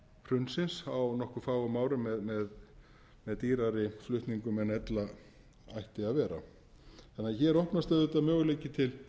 hrunsins á nokkuð fáum árum með dýrari flutningum en ella ætti að vera þannig að hér opnast auðvitað möguleiki til